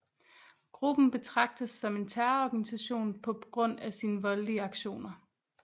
Gruppen betrages som en terrororganisation på grund af sin voldelige aktioner